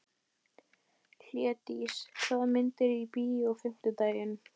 Hlédís, hvaða myndir eru í bíó á fimmtudaginn?